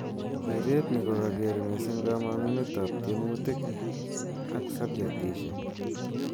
Keret ni ko kaker mising kamangunet ap tiemutik ak subjetishek.